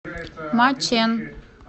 мачэн